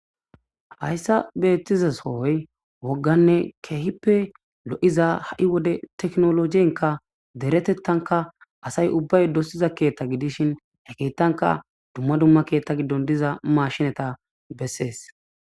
Hayssa beettizasooy wogganne keehippe lo'iza ha'i wode teknologienka deretettanka asay ubbay dosiza keetta gidishin ekeettanka dumma dumma keetta giddon diza mashineta bessees